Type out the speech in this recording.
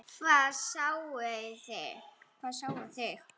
Hvað sáuði?